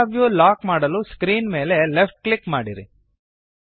camera view lock ಮಾಡಲು screen ಮೇಲೆ left click ಮಾಡಿರಿ